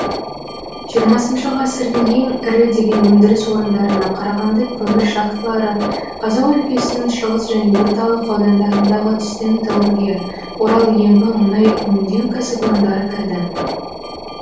жиырмасыншы ғасырдың ең ірі деген өндіріс орындарына қарағанды кемір шахталары қазақ өлкесінің шығыс және ор талық аудандарындағы түсті металлургия орал ембі мұнай еңдеу кәсіпорындары кірді